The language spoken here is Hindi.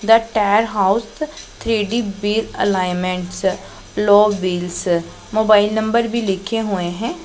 The tyre house three D base alignment low wheels mobile number भी लिखे हुए हैं।